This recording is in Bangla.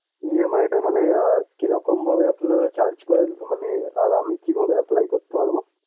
EMI টা মানে আহ কিরকম ভাবে আপনারা search করেন মানে আর আমি কিভাবে apply করতে পারবো?